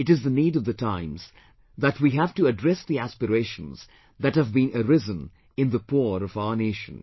It is the need of the times that we've to address the aspirations that have been arisen in the poor of our nation